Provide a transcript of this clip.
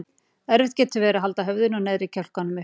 Erfitt getur verið að halda höfðinu og neðri kjálkanum uppi.